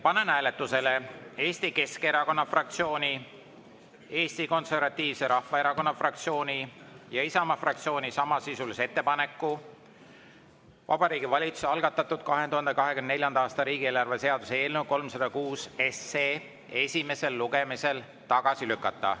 Panen hääletusele Eesti Keskerakonna fraktsiooni, Eesti Konservatiivse Rahvaerakonna fraktsiooni ja Isamaa fraktsiooni samasisulise ettepaneku Vabariigi Valitsuse algatatud 2024. aasta riigieelarve seaduse eelnõu 306 esimesel lugemisel tagasi lükata.